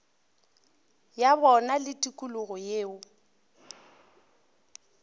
ya bona le tikologo yeo